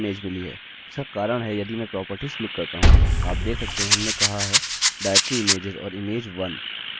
इसका कारण है यदि मैं properties क्लिक करता हूँ आप देख सकते हैं हमने कहा है directory images और image 1